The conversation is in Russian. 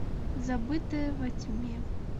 забытая во тьме